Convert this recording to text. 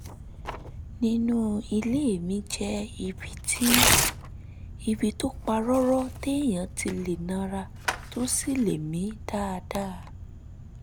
nínú ilé mi jẹ́ ibi tó pa rọ́rọ́ téèyàn ti lè nara tó sì lè mí dáadáa